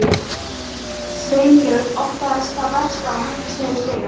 Hvað ætlarðu að gera margar tilraunir, ha?